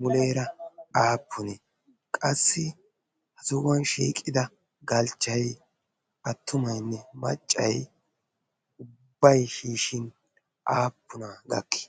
muleera aappunee? qassi ha zohuwan shiiqida galchchai attumaynne maccay ubbay shiishin aappuna gakki?